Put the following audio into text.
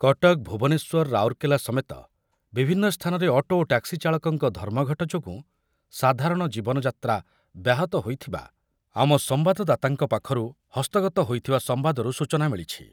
କଟକ, ଭୁବନେଶ୍ୱର, ରାଉରକେଲା ସମେତ ବିଭନ୍ନ ସ୍ଥାନରେ ଅଟୋ ଓ ଟ୍ୟାକ୍ସି ଚାଳକଙ୍କ ଧର୍ମଘଟ ଯୋଗୁଁ ସାଧାରଣ ଜୀବନଯାତ୍ରା ବ୍ୟାହତ ହୋଇଥିବା ଆମ ସମ୍ବାଦଦାତାଙ୍କ ପାଖରୁ ହସ୍ତଗତ ହୋଇଥିବା ସମ୍ବାଦରୁ ସୂଚନା ମିଳିଛି।